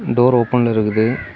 Door ஓபன்ல இருக்குது.